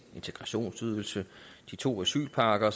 integrationsydelsen de to asylpakker